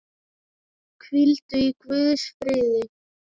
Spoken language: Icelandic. Hvíldu í Guðs friði.